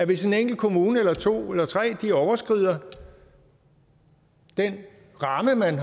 hvis en enkelt kommune eller to eller tre overskrider den ramme man